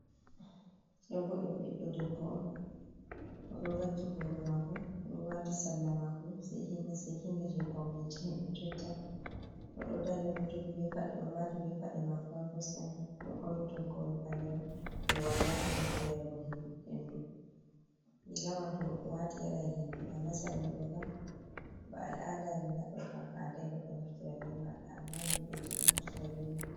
Ɗoobo ɗum ɓiɗɗo debbo on, o ɗo vakki booro maako, o waati sarla maako seekiinga-seekiinga jey pawneji, himɓe jotta, o ɗo dari, o ɗo jogi be paɗe, o waati be paɗe maako haa kosɗe o ɗo ɓorni toggowol ɓaleewa jey wala junngo, jey yargo henndu, riiga man to goɗɗo waati yaray henndu, amma sarla ɗo kam ba al'ada amin haɗɗo kam haanday goɗɗo naftira be maaka, ammaa himɓeji ɗo naftira be man.